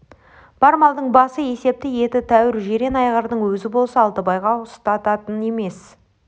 бар малдың басы есепті еті тәуір жирен айғырдың өзі болса алтыбайға ұстататын емес